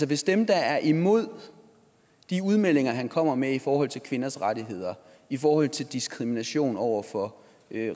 hvis dem der er imod de udmeldinger han kommer med i forhold til kvinders rettigheder i forhold til diskrimination over for